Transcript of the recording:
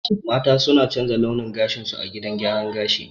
Mata suna canza launin gashinsu a gidan gyaran gashi.